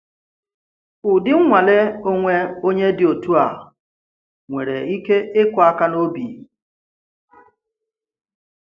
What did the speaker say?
Ụdị nnwale onwe onye dị otú a nwere ike ịkụ̀ aka n’obi.